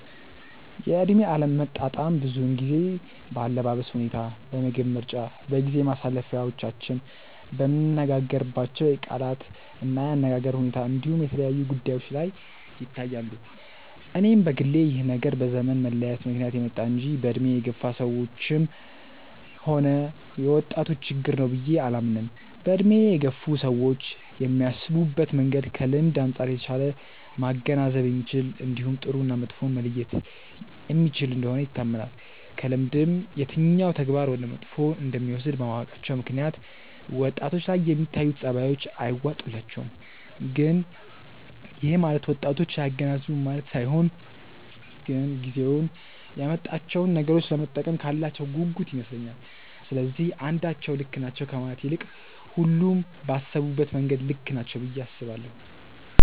የእድሜ አለመጣጣም ብዙውን ጊዜ በአለባበስ ሁኔታ፣ በምግብ ምርጫ፣ በጊዜ ማሳለፊያዎቻችን፣ በምንነጋገርባቸው የቃላት እና የአነጋገር ሁኔታ እንዲሁም የተለያዩ ጉዳዮች ላይ ይታያሉ። እኔም በግሌ ይህ ነገር በዘመን መለያየት ምክንያት የመጣ እንጂ በእድሜ የገፋ ሰዎችም ሆነ የወጣቶች ችግር ነው ብዬ አላምንም። በእድሜ የገፉ ሰዎች የሚያስቡበት መንገድ ከልምድ አንጻር የተሻለ ማገናዘብ የሚችል እንዲሁም ጥሩ እና መጥፎውን መለየት የሚችል እንደሆነ ይታመናል። ከልምድም የትኛው ተግባር ወደ መጥፎ እንደሚወስድ በማወቃቸው ምክንያት ወጣቶች ላይ የሚታዩት ጸባዮች አይዋጡላቸውም። ግን ይሄ ማለት ወጣቶች አያገናዝቡም ማለት ሳይሆን ግን ጊዜው ያመጣቸውን ነገሮች ለመጠቀም ካላቸው ጉጉት ይመስለኛል። ስለዚህ አንዳቸው ልክ ናቸው ከማለት ይልቅ ሁሉም ባሰቡበት መንገድ ልክ ናቸው ብዬ አስባለሁ።